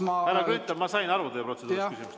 Härra Grünthal, ma sain aru teie protseduurilisest küsimusest.